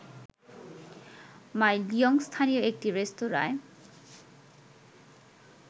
মাই লিয়ং স্থানীয় একটি রেস্তোরাঁয়